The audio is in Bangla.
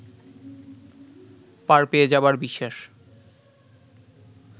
পার পেয়ে যাবার বিশ্বাস